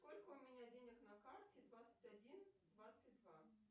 сколько у меня денег на карте двадцать один двадцать два